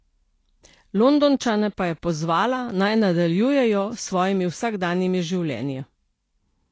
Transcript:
Londončane pa je pozvala naj nadaljujejo s svojimi vsakdanjimi življenji.